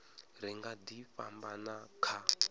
ri nga ḓi fhambana kha